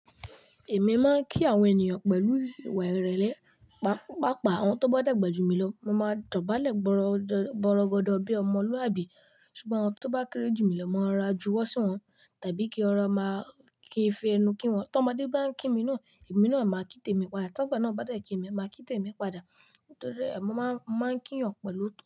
Èmi máa ń kí àwọn ènìyàn pẹ̀lú ìwà ìrẹ̀lẹ̀. Pápàá àwọn tó bá dàgbà jù mí lọ, mo máa dọ̀bálẹ̀ bọrọgọdọ bíi ọmọlúàbí. Ṣùgbọ́n àwọn tó bá kéré jù mí lọ, mo máa rọra juwọ́ sí wọn, tàbí kí rọra máa kí n fi ẹnu kí wọn. Tọ́mo dé bá ń kí mi ni, èmi náà máa kí tèmi padà. T'agba náà bá dẹ̀ kí mi, màá kí tèmi padà. Nítorí ẹ, mo máa ń máa ń kí ènìyàn pẹ̀lú òótọ́